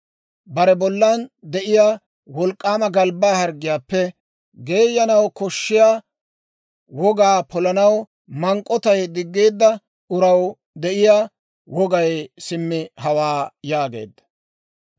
Bare bollan de'iyaa wolk'k'aama galbbaa harggiyaappe geeyanaw koshshiyaa wogaa polanaw mank'k'otay diggeedda uraw de'iyaa wogay simmi hawaa» yaageedda.